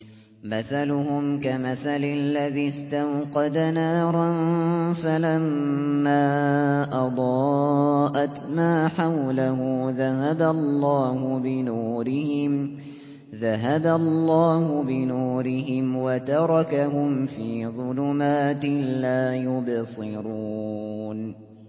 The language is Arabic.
مَثَلُهُمْ كَمَثَلِ الَّذِي اسْتَوْقَدَ نَارًا فَلَمَّا أَضَاءَتْ مَا حَوْلَهُ ذَهَبَ اللَّهُ بِنُورِهِمْ وَتَرَكَهُمْ فِي ظُلُمَاتٍ لَّا يُبْصِرُونَ